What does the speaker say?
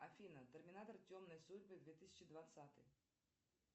афина терминатор темные судьбы две тысячи двадцатый